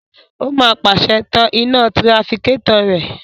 Ó máa pàṣẹ, "tan iná tirafikétọ̀ rẹ!"